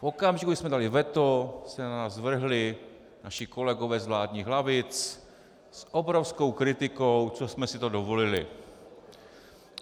V okamžiku, kdy jsme dali veto, se na nás vrhli naši kolegové z vládních lavic s obrovskou kritikou, co jsme si to dovolili.